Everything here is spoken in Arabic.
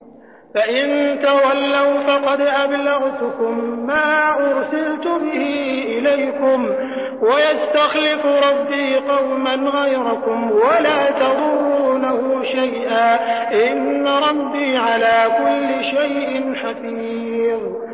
فَإِن تَوَلَّوْا فَقَدْ أَبْلَغْتُكُم مَّا أُرْسِلْتُ بِهِ إِلَيْكُمْ ۚ وَيَسْتَخْلِفُ رَبِّي قَوْمًا غَيْرَكُمْ وَلَا تَضُرُّونَهُ شَيْئًا ۚ إِنَّ رَبِّي عَلَىٰ كُلِّ شَيْءٍ حَفِيظٌ